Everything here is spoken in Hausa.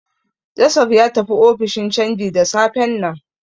Joseph ya tafi ofishin canji da safen nan.